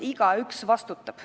Igaüks vastutab.